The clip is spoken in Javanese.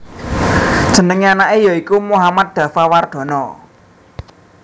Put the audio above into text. Jenengé anaké ya iku Mohammad Daffa Wardana